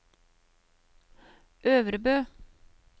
Øvrebø